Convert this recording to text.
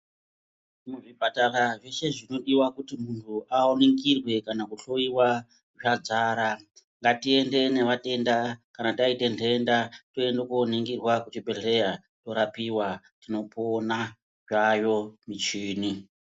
Muzvipatara zveshe zvinodiwa kuti muntu aringirwe kana kuhloiwa zvadzara. Ngatiende nematenda kana taite ndenda toende koningirwa kuchibhehleya torapiwa tinopona, dzayo michini.